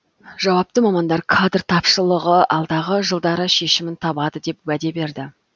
жауапты мамандар кадр тапшылығы алдағы жылдары шешімін табады деп уәде берді